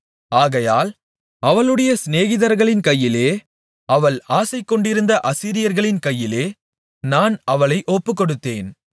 ஆகையால் அவளுடைய சிநேகிதர்களின் கையிலே அவள் ஆசைகொண்டிருந்த அசீரியர்களின் கையிலே நான் அவளை ஒப்புக்கொடுத்தேன்